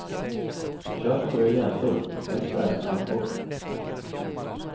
Köp några gäddor, helst även abborre.